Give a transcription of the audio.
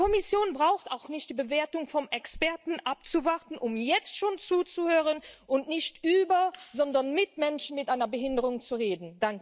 Die Kommission braucht auch nicht die Bewertung von Experten abzuwarten, um jetzt schon zuzuhören und nicht über, sondern mit Menschen mit einer Behinderung zu reden.